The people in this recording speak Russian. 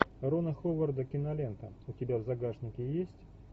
рона ховарда кинолента у тебя в загашнике есть